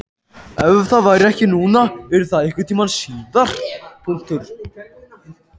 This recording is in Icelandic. Ef það væri ekki núna yrði það einhvern tíma síðar.